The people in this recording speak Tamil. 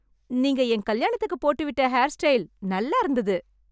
நீங்க என் கல்யாணத்துக்கு போட்டுவிட்டு ஹேர் ஸ்டைல் நல்லா இருந்தது